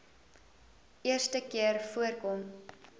eerste keer voorkom